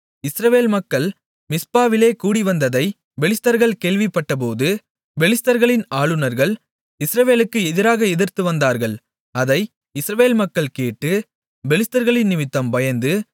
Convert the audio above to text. இஸ்ரவேல் மக்கள் மிஸ்பாவிலே கூடிவந்ததைப் பெலிஸ்தர்கள் கேள்விப்பட்டபோது பெலிஸ்தர்களின் ஆளுனர்கள் இஸ்ரவேலுக்கு எதிராக எதிர்த்து வந்தார்கள் அதை இஸ்ரவேல் மக்கள் கேட்டு பெலிஸ்தர்களினிமித்தம் பயந்து